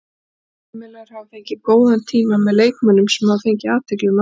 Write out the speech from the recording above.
Fjölmiðlar hafa fengið góðan tíma með leikmönnum sem hafa fengið athygli um allan heim.